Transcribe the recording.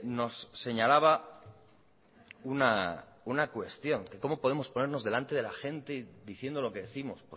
nos señalaba una cuestión que cómo podemos ponernos delante de la gente diciendo lo que décimos